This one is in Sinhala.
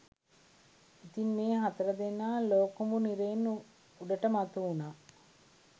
ඉතින් මේ හතර දෙනා ලෝකුඹු නිරයෙන් උඩට මතුවුනා